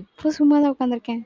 இப்ப சும்மாதான் உக்காந்து இருக்கேன்.